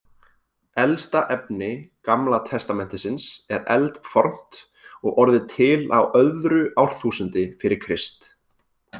Elsta efni Gamla testamentisins er eldfornt og orðið til á öðru árþúsundi fyrir Krist.